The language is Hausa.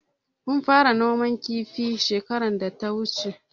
Mun fara noman kifi shekarar da ta wuce.